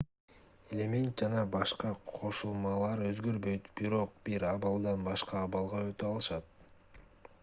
элемент жана кошулмалар өзгөрбөйт бирок бир абалдан башка абалга өтө алышат